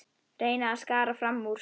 Reyna að skara fram úr.